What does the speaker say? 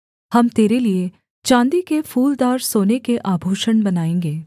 हम तेरे लिये चाँदी के फूलदार सोने के आभूषण बनाएँगे